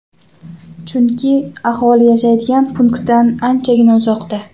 Chunki aholi yashaydigan punktdan anchagina uzoqda.